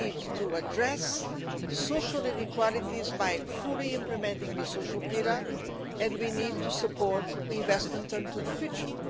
We need to address social inequalities by fully implementing the social pillar and we need to support investment into the future.